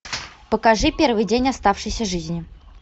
покажи первый день оставшейся жизни